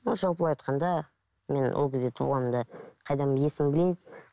ы жалпылай айтқанда мен ол кезде туылғанымда қайдан есімді білейін